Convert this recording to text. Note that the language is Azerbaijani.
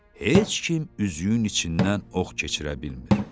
Heç kim üzüyün içindən ox keçirə bilmir.